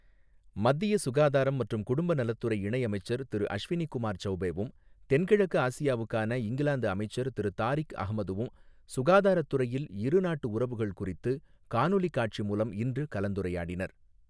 மத்திய சுகாதாரம் மற்றும் குடும்ப நலத்துறை இணை அமைச்சர் திரு அஷ்வினி குமார் சௌபேவும், தென்கிழக்கு ஆசியாவுக்கான இங்கிலாந்து அமைச்சர் திரு தாரிக் அஹமதும், சுகாதாரத்துறையில் இரு நாட்டு உறவுகள் குறித்து காணொலி காட்சி மூலம் இன்று கலந்துரையாடினர்.